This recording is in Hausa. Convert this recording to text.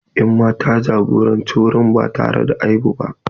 Emma ta jagoranci wurin ba tare da aibu ba.